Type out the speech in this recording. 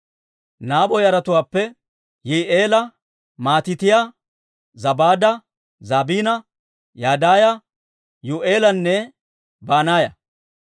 Nabo yaratuwaappe Yi'i'eela, Matiitiyaa, Zabaada, Zabiina, Yadaaya, Yuu'eelanne Banaaya.